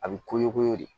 A bɛ koɲu koɲɔ de